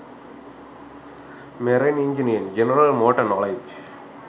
marine engineering general motor knowledge